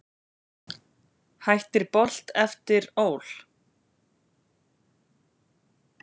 Hættir Bolt eftir ÓL